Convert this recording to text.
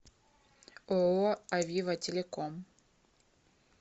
ооо авива телеком